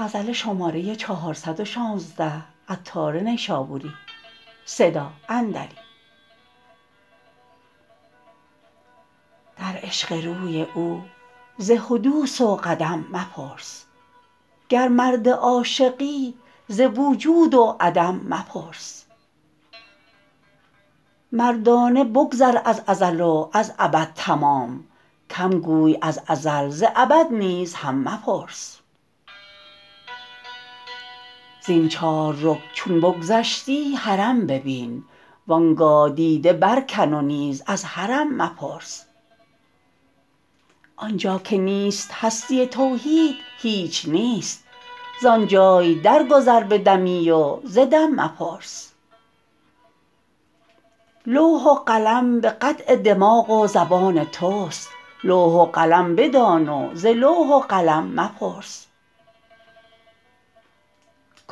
در عشق روی او ز حدوث و قدم مپرس گر مرد عاشقی ز وجود و عدم مپرس مردانه بگذر از ازل و از ابد تمام کم گوی از ازل ز ابد نیز هم مپرس زین چار رکن چون بگذشتی حرم ببین وانگاه دیده برکن و نیز از حرم مپرس آنجا که نیست هستی توحید هیچ نیست زانجای درگذر به دمی و ز دم مپرس لوح و قلم به قطع دماغ و زبان توست لوح و قلم بدان و ز لوح و قلم مپرس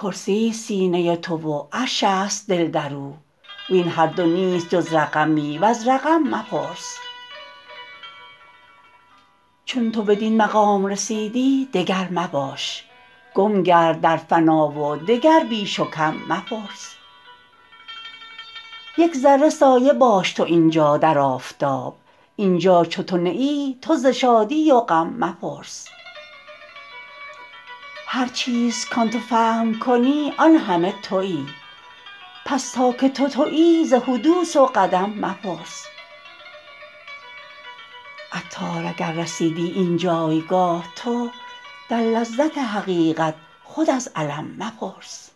کرسی است سینه تو و عرش است دل درو وین هر دو نیست جز رقمی وز رقم مپرس چون تو بدین مقام رسیدی دگر مباش گم گرد در فنا و دگر بیش و کم مپرس یک ذره سایه باش تو اینجا در آفتاب اینجا چو تو نه ای تو ز شادی و غم مپرس هر چیز کان تو فهم کنی آن همه تویی پس تا که تو تویی ز حدوث و قدم مپرس عطار اگر رسیدی اینجایگاه تو در لذت حقیقت خود از الم مپرس